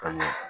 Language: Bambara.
Ani